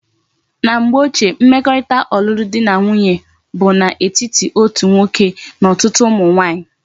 Na mgbe ochie, mmekorita olulu di na nwunye di bu na etiti otu nwoke na otutu umu nwanyi